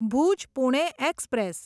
Bhuj Pune express